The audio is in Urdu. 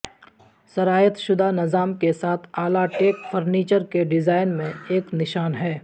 سرایت شدہ نظام کے ساتھ اعلی ٹیک فرنیچر کے ڈیزائن میں ایک نشان ہے